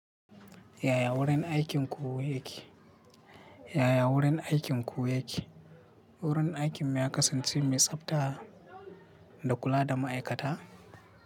Yaya wurin aikinku yake? Yaya wurin aikinku yake? Wurin aikin mu ya kasance mai tsafta da kula da ma'aikata.